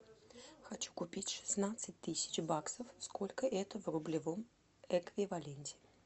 хочу купить шестнадцать тысяч баксов сколько это в рублевом эквиваленте